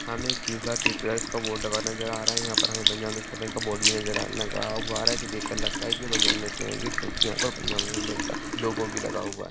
हमें क्यूसार ट्यूटोरियल का बोर्ड लगा हुआ नजर आ रहा है यहाँ पर हमें पंजाब नेशनल बैंक का बोर्ड भी नजर आ लगा हुआ आ रहा है जिसे देख कर लगता है की पंजाब नेशनल बैंक है क्यूंकि यहाँ पर पंजाब नेशनल बैंक का लोगो भी लगा हुआ है।